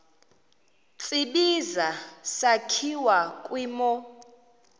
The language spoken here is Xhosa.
tsibizi sakhiwa kwimo